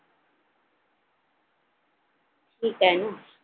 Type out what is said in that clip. ठीक हाय ना